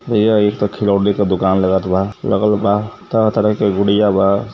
भईया ई त खिलौड़े के दुकान लगत बा। लगल बा तरह-तरह के गुड़िया बा।